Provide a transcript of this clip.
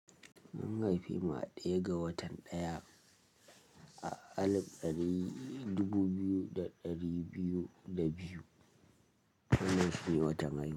An haife mu a ɗaya ga watan daya a alif ɗari dubu biyu da ɗari biyu da biyu. Wannan shine watan hai.